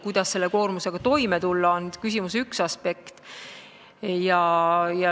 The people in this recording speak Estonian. Kuidas selle koormusega toime tulla, on küsimuse üks aspekt.